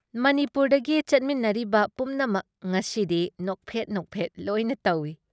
ꯃꯅꯤꯄꯨꯔꯗꯒꯤ ꯆꯠꯃꯤꯟꯅꯔꯤꯕ ꯄꯨꯝꯅꯃꯝ ꯉꯁꯤꯗꯤ ꯅꯣꯛꯐꯦꯠ ꯅꯣꯛꯐꯦꯠ ꯂꯣꯏꯅ ꯇꯧꯏ ꯫